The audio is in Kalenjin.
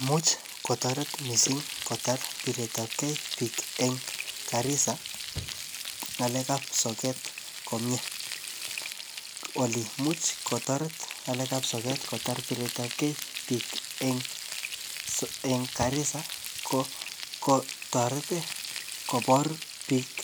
imuch kotoret mising kotaar piret ab ke biik en Garissa ngaleek ab sogeeet komyee, ole imuch kotoret ngaleek ab soget kotaar bireet ab kee biik en Garissa kotoret iih kobor biik